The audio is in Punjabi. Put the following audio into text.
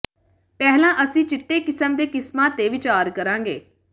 ਪਹਿਲਾਂ ਅਸੀਂ ਚਿੱਟੇ ਕਿਸਮ ਦੇ ਕਿਸਮਾਂ ਤੇ ਵਿਚਾਰ ਕਰਾਂਗੇ